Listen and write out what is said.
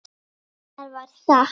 Það var satt.